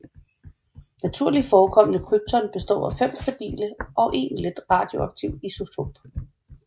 Naturligt forekommende krypton består af fem stabile og en let radioaktiv isotop